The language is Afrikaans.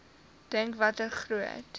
dink watter groot